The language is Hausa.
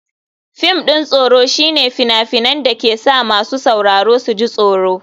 Fim ɗin tsoro shine fina-finan da ke sa masu sauraro su ji tsoro.